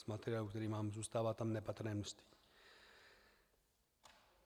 Z materiálu, který mám, zůstává tam nepatrné množství.